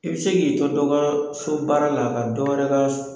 I bɛ se k'i to dɔ ka so baara la ka dɔ wɛrɛ la